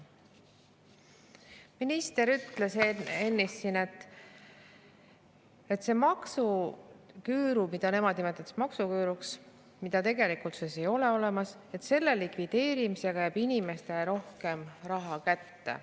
Minister ütles siin ennist, et selle maksuküüru – mida nemad nimetavad maksuküüruks ja mida tegelikult ei ole olemas – likvideerimisega jääb inimestele rohkem raha kätte.